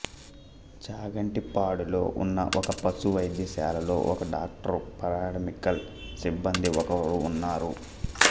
చాగంటిపాడులో ఉన్న ఒక పశు వైద్యశాలలో ఒక డాక్టరు పారామెడికల్ సిబ్బంది ఒకరు ఉన్నారు